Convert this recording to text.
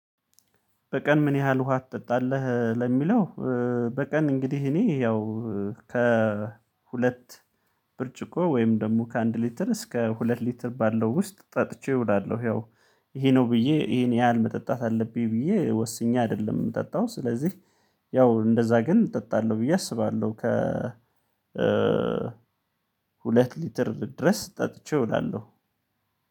በቀን ምን ያህል ውሃ ትጠጣለህ? እ ለሚለው እ በቀን እንግዲህ እኔ ያው ከሁለት ብርጭቆ ወይም ደግሞ ከአንድ ሊትር እስከ ሁለት ሊትር ባለው ውስጥ ጠጥቼ እውላለሁ። ያው ይሄ ነው ብዬ ይሄን ያህል መጠጣት አለብኝ ብዬ ወስኜ አይደለም የምጠጣው ስለዚህ ያው እንደዛ ግን እጠጣለሁ ብዬ አስባለሁ። ከ እ ሁለት ሊትር ድረስ ጠጥቼ እውላለሁ።